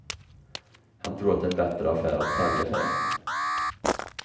Han tror att det är en bättre affär att sälja färjan.